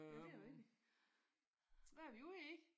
Jamen det er jo rigtigt. Hvad er vi ude i?